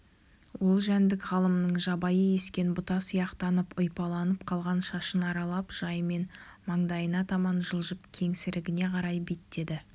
ол жәндік ғалымның жабайы ескен бұта сияқтанып ұйпаланып қалған шашын аралап жайымен маңдайына таман жылжып кеңсірігіне қарай беттеді